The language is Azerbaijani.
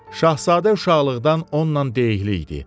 Şahzadə uşaqlıqdan onunla deyikli idi.